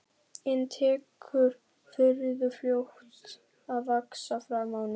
En tekur furðu fljótt að vaxa fram á ný.